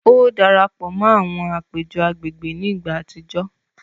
O darapọ̀ mọ àwọn apejọ agbègbè ni ìgbà àtijọ